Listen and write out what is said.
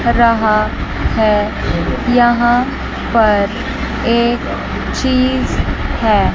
रहा है। यहां पर एक चीज है।